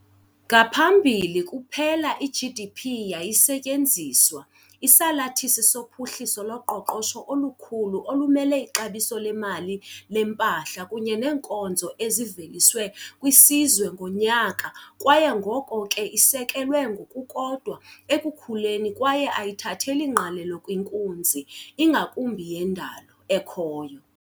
Ngaphambili, kuphela i-GDP yayisetyenziswa, isalathisi sophuhliso loqoqosho olukhulu olumele ixabiso lemali lempahla kunye neenkonzo eziveliswe kwisizwe ngonyaka kwaye ngoko ke isekelwe ngokukodwa ekukhuleni kwaye ayithatheli ngqalelo kwinkunzi ingakumbi yendalo ekhoyo.